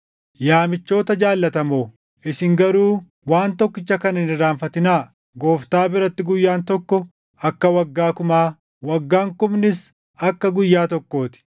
Yaa michoota jaallatamoo, isin garuu waan tokkicha kana hin irraanfatinaa. Gooftaa biratti guyyaan tokko akka waggaa kumaa, waggaan kumnis akka guyyaa tokkoo ti.